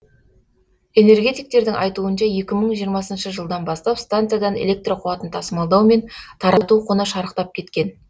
энергетиктердің айтуынша екі мың жиырмасыншы жылдан бастап станциядан электр қуатын тасымалдау мен тарату құны шарықтап кеткен